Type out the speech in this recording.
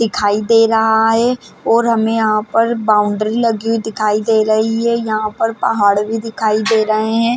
दिखाई दे रहा है और हमे यहाँ पर बाउंड्री लगी हुई दिखाई दे रही है यहाँ पर पहाड़ भी दिखाई दे रहे है।